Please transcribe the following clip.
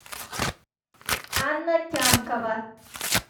анна тямкова